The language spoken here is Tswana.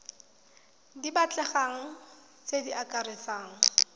di batlegang tse di akaretsang